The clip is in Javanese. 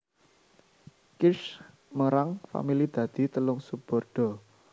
Kirsch mérang famili dadi telung subordo